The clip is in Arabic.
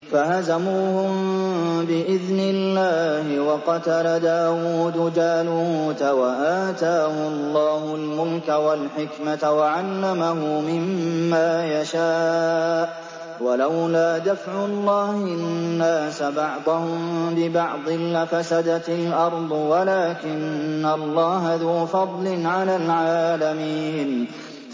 فَهَزَمُوهُم بِإِذْنِ اللَّهِ وَقَتَلَ دَاوُودُ جَالُوتَ وَآتَاهُ اللَّهُ الْمُلْكَ وَالْحِكْمَةَ وَعَلَّمَهُ مِمَّا يَشَاءُ ۗ وَلَوْلَا دَفْعُ اللَّهِ النَّاسَ بَعْضَهُم بِبَعْضٍ لَّفَسَدَتِ الْأَرْضُ وَلَٰكِنَّ اللَّهَ ذُو فَضْلٍ عَلَى الْعَالَمِينَ